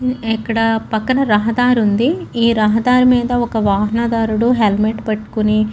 ఇక్కడ పక్కన రహదారి ఉంది ఈ రహదారి మీద ఒక వాహనదారుడు హెల్మెట్ పెట్టుకోని --